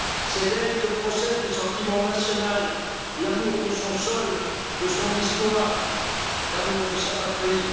C'est d'elle que procèdent le sentiment national, l'amour de son sol, de son histoire, l'amour de sa patrie.